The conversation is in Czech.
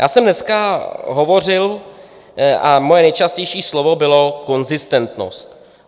Já jsem dneska hovořil a moje nejčastější slovo bylo konzistentnost.